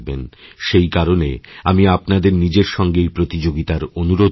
সেই কারণে আমি আপনাদের নিজের সঙ্গেই প্রতিযোগিতারঅনুরোধ করবো